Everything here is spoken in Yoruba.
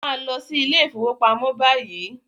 Màá lọ sí ilé ìfọwọ́pamo báyìí!